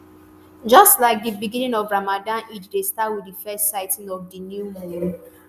just like di beginning of ramadan eid dey start wit di first sighting of di new moon.